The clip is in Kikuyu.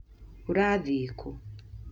ũrathiĩ kũ?